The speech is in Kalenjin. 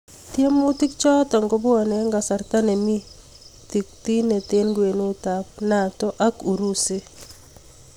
Tiemutik chotok kobwanee eng kasarta nemii tiktiknet eng kwenut ap NATO ak Urusi